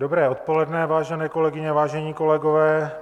Dobré odpoledne, vážené kolegyně, vážení kolegové.